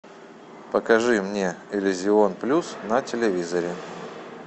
покажи мне иллюзион плюс на телевизоре